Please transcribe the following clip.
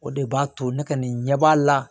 O de b'a to ne ka nin ɲɛb'a la